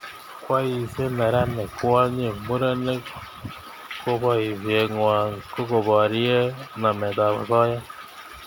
Boisiek, neranik, kwonyik, murenik ko boisiengwai koborie nametab osoya